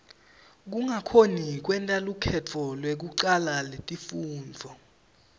kungakhoni kwenta lukhetfo lekucala letifundvo